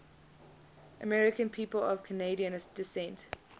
american people of canadian descent